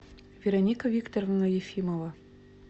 вероника викторовна ефимова